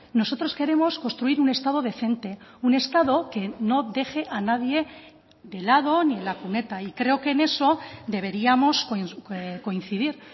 nosotros queremos construir un estado decente un estado que no deje a nadie de lado ni en la cuneta y creo que en eso deberíamos coincidir